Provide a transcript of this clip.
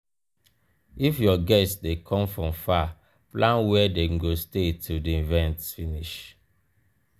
if your guests de come from far plan where dem go stay till di event finish